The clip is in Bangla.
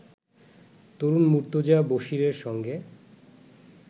তরুণ মুর্তজা বশীরের সঙ্গে